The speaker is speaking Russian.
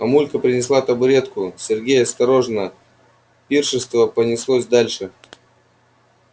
мамулька принесла табуретку сергей осторожно пиршество понеслось дальше